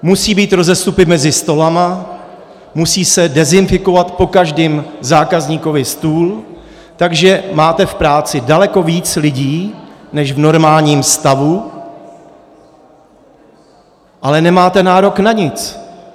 Musí být rozestupy mezi stoly, musí se dezinfikovat po každém zákazníkovi stůl, takže máte v práci daleko víc lidí než v normálním stavu, ale nemáte nárok na nic.